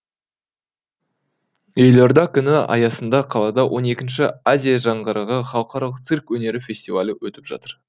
елорда күні аясында қалада он екінші азия жаңғырығы халықаралық цирк өнері фестивалі өтіп жатыр